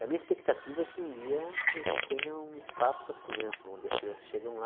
E a minha expectativa é que um dia a gente tenha um espaço assim amplo, onde as crianças chegam lá.